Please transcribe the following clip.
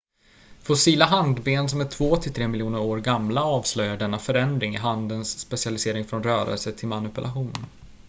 fossila handben som är två till tre miljoner år gamla avslöjar denna förändring i handens specialisering från rörelse till manipulation